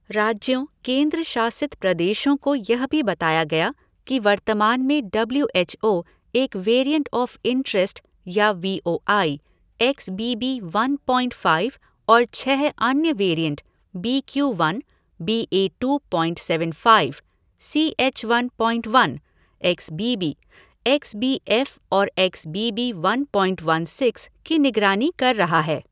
राज्यों, केंद्र शासित प्रदेशों को यह भी बताया गया कि वर्तमान में डब्ल्यू एच ओ एक वेरिएंट ऑफ़ इंटरेस्ट या V O I, X B B one point five और छह अन्य variant B Q one, B A two point seven five, C H one point one, XBB, X B F और X B B one point one six की निगरानी कर रहा है।